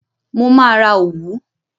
Mo máa ra òwú.